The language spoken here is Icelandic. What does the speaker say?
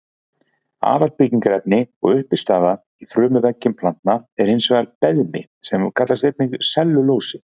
Aðalbyggingarefni og uppistaða í frumuveggjum planta er hins vegar beðmi sem einnig kallast sellulósi.